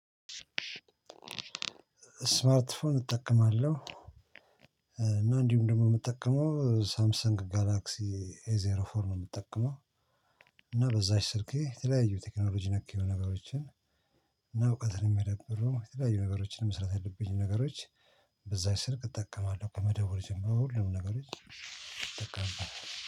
እስማርት ፎን እጠቀማለሁ እና እንዲሁም ደግሞ የምጠቀመው ሳምሰንግ ጋላክሲ ኤ ዜሮ ፎር ነው የምትጠቀመው እና በዛች ስልኬ የተለያዩ ቴክኖሎጂ ነክ የሆኑ ነገሮችን እና እውቀትን የሚያዳብሩ የተለያዩ ነገሮችን መስራት የለብኝም ነገሮች በዛች ስልክ እጠቀማለሁ ከመደወል ጀምሮ ሁሉንም ነገሮች እጠቀማለሁ።